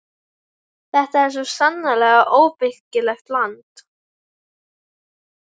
Þetta er svo sannarlega óbyggilegt land.